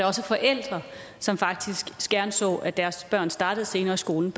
også forældre som faktisk gerne så at deres børn startede senere i skolen